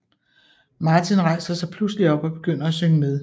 Martin rejser sig pludselig op og begynder at synge med